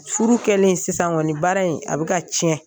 Furu kɛlen sisan kɔni baara in a bɛ ka tiɲɛ